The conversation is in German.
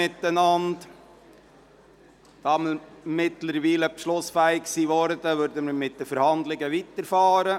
Da wir mittlerweile beschlussfähig sind, setzen wir die Verhandlungen fort.